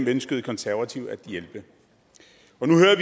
ønskede konservative at hjælpe